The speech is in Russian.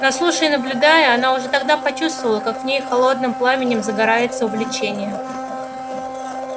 но слушая и наблюдая она уже тогда почувствовала как в ней холодным пламенем загорается увлечение